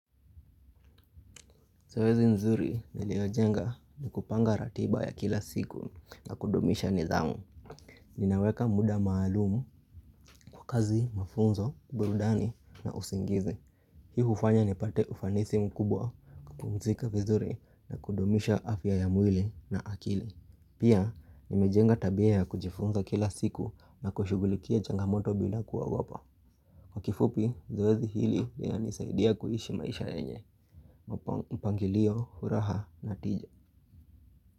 Zoezi nzuri niliyojenga ni kupanga ratiba ya kila siku na kudumisha nidhamu. Ninaweka muda maalumu kwa kazi, mafunzo, burudani na usingizi. Hii hufanya nipate ufanisi mkubwa kupumzika vizuri na kudumisha afya ya mwili na akili. Pia, nimejenga tabia ya kujifunza kila siku na kushughulikia changamoto bila kuogopa. Kwa kifupi, zoezi hili linanisaidia kuishi maisha yenye. Mpangilio, furaha, na tija. Kwa hivyo.